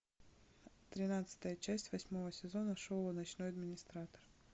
тринадцатая часть восьмого сезона шоу ночной администратор